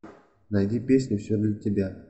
найди песню все для тебя